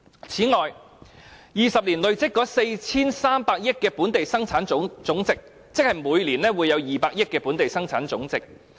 此外，在20年內累積 4,300 億元本地生產總值，即每年有200億元的本地生產總值。